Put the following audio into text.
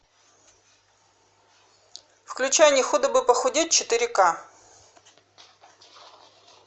включай не худо бы похудеть четыре ка